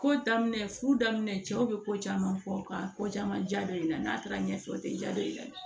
Ko daminɛ furu daminɛ cɛw bɛ ko caman fɔ ka ko caman ja i la n'a taara ɲɛfɛ o tɛ ja don i la